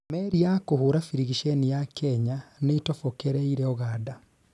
Meri ya kuhura birigiceni ya Kenya niĩtobokereire Uganda